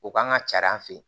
O kan ka carin an fɛ yen